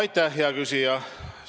Aitäh, hea küsija!